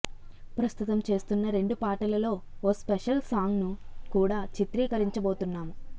ప్రస్తుతం చేస్తున్న రెండు పాటలలో ఓ స్పెషల్ సాంగ్ను కూడా చిత్రీకరించబోతున్నాం